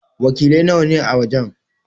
Wakiliai nawa ne a wajen?